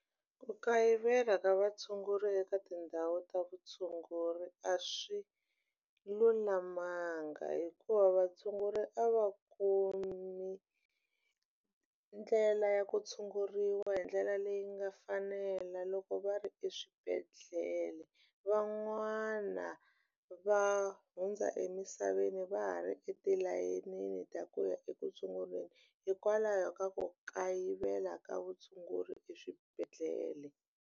Ku kayivela ka vatshunguri eka tindhawu ta vutshunguri a swi lulamanga hikuva vatshunguri a va kumi ndlela ya ku tshunguriwa hi ndlela leyi nga fanela loko va ri eswibedhlele van'wana va hundza emisaveni va ha ri etilayenini ta ku ya eku tshunguriweni hikwalaho ka ku kayivela ka vutshunguri eswibedhlele.